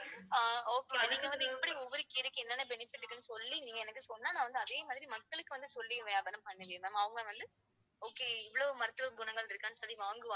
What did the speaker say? ஒவ்வொரு கீரைக்கும் என்னென்ன benefit இருக்குனு சொல்லி நீங்க எனக்கு சொன்னா, நான் வந்து அதே மாதிரி மக்களுக்கு வந்து சொல்லி வியாபாரம் பண்ணுவேன் ma'am. அவங்க வந்து okay இவ்வளவு மருத்துவ குணங்கள் இருக்கான்னு சொல்லி வாங்குவாங்க.